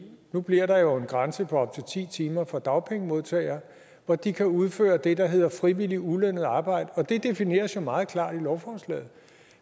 nu bliver der jo en grænse på op til ti timer for dagpengemodtagere hvor de kan udføre det der hedder frivilligt ulønnet arbejde og det defineres meget klart i lovforslaget